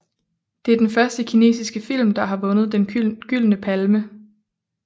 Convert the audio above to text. Det er den første kinesiske film der har vundet Den Gyldne Palme